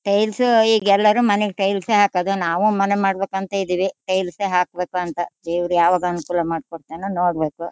Tiles ಈಗ್ ಎಲ್ಲರೂ ಮನೆಗ್ ಟೈಲ್ಸ್ ಹಾಕೋದು ಈಗ್ ನಾವು ಮನೆ ಮಾಡ್ಬೇಕಂತ ಇದಿವಿ ಟೈಲ್ಸ್ ಯೇ ಹಾಕ್ಬೇಕು ಅಂತ. ದೇವ್ರ್ ಯಾವಾಗ್ ಅನುಕೂಲಾ ಮಾಡ್ಕೋಡ್ಥನೋ ನೋಡ್ಬೇಕು.